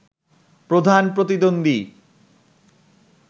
প্রধান প্রতিদ্বন্দী